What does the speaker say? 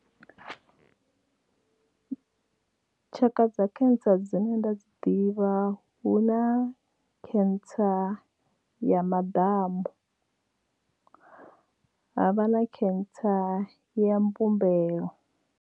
Tshaka dza cancer dzine nda dzi ḓivha hu na cancer ya maḓamu ha vha na cancer ya mbumbelo.